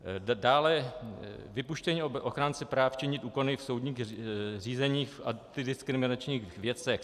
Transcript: Dále vypuštění ochránci práv činit úkon v soudních řízeních a antidiskriminačních věcech.